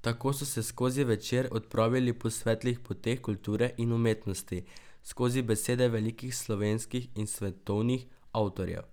Tako so se skozi večer odpravili po svetlih poteh kulture in umetnosti skozi besede velikih slovenskih in svetovnih avtorjev.